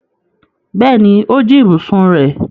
Bẹ́ẹ̀ni, ó jí ibùsùn rẹ̀.